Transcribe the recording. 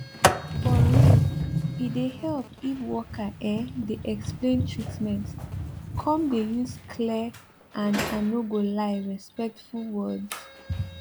for real e dey help if worker ehh dey explain treatment come dey use clear and i no go lie respectful words